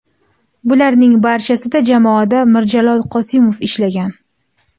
Bularning barchasida jamoada Mirjalol Qosimov ishlagan.